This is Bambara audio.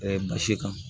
nka si kan